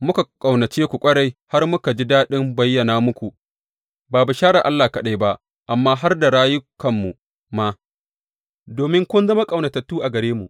Muka ƙaunace ku ƙwarai har muka ji daɗin bayyana muku, ba bisharar Allah kaɗai ba amma har rayukanmu ma, domin kun zama ƙaunatattu a gare mu.